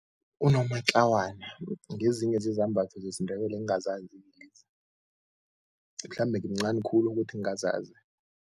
Unomatlawana ngezinye zezambatho zesiNdebele engingazazi mhlambe ngimncani khulu ukuthi ngingazazi.